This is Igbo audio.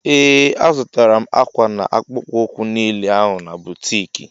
Ee azutara m akwa na akpụkpọ ukwu niile ahụ n' boutiki.